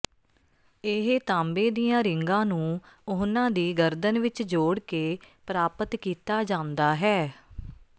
ਇਹ ਤਾਂਬੇ ਦੀਆਂ ਰਿੰਗਾਂ ਨੂੰ ਉਹਨਾਂ ਦੀ ਗਰਦਨ ਵਿੱਚ ਜੋੜ ਕੇ ਪ੍ਰਾਪਤ ਕੀਤਾ ਜਾਂਦਾ ਹੈ